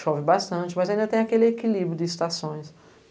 Chove bastante, mas ainda tem aquele equilíbrio de estações.